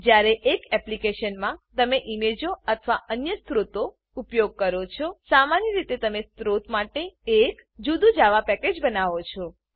જ્યારે એક એપ્લીકેશનમાં તમે ઈમેજો અથવા અન્ય સ્ત્રોતો ઉપયોગ કરો છો સામાન્ય રીતે તમે સ્ત્રોત માટે એક જુદું જાવા પેકેજ બનાવો છો